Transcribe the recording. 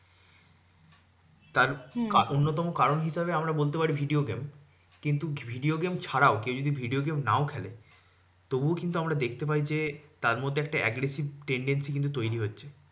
তার অন্যতম কারণ হিসেবে আমরা বলতে পারি video game. কিন্তু video game ছাড়াও কেউ যদি video game নাও খেলে, তবুও কিন্তু আমরা দেখতে পাই যে, তারমধ্যে একটা aggressive tendency কিন্তু তৈরী হচ্ছে।